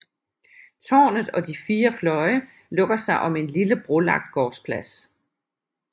Tårnet og de fire fløje lukker sig om en lille brolagt gårdsplads